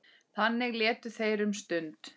Þannig létu þeir um stund.